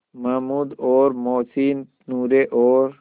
महमूद और मोहसिन नूरे और